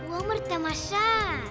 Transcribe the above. өмір тамаша